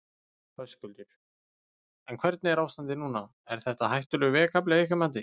Höskuldur: En hvernig er ástandið núna, er þetta hættulegur vegakafli að ykkar mati?